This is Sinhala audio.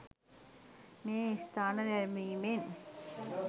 මේ ස්ථාන නැරැඹීමෙන්